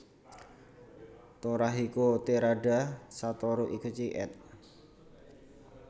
Torahiko Terada Satoru Ikeuchi ed